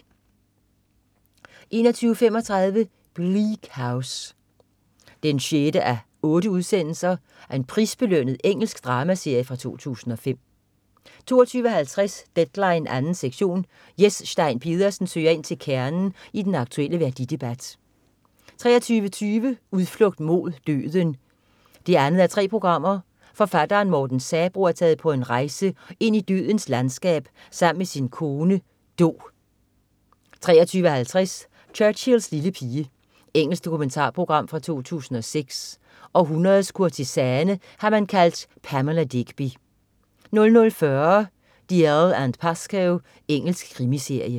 21.35 Bleak House 6:8. Prisbelønnet engelsk dramaserie fra 2005 22.50 Deadline 2. sektion. Jes Stein Pedersen søger ind til kernen i den aktulle værdidebat 23.20 Udflugt mod døden 2:3. Forfatteren Morten Sabroe er taget på en rejse ind i dødens landskab sammen med sin kone Do 23.50 Churchills lille pige. Engelsk dokumentarprogram fra 2006. Århundredets kurtisane har man kaldt Pamela Digby 00.40 Dalziel & Pascoe. Engelsk krimiserie